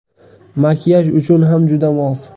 Makiyaj uchun ham juda mos.